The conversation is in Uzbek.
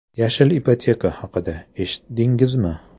“Yashil ipoteka” haqida eshitdingizmi?.